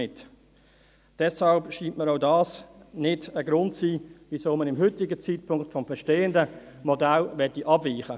Deshalb scheint mir auch dies kein Grund dafür zu sein, zum heutigen Zeitpunkt vom bestehenden Modell abzuweichen.